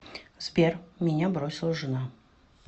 сбер меня бросила жена